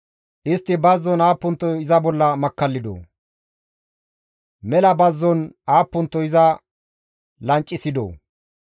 Istti bazzon aappunto iza bolla makkallidoo! Mela bazzon aappunto iza lancissidoo!